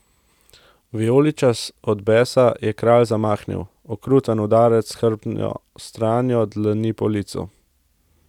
Vijoličast od besa je kralj zamahnil, okruten udarec s hrbtno stranjo dlani po licu.